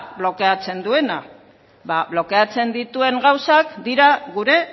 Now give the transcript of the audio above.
blokeatzen duena ba blokeatzen dituen gauzak dira gure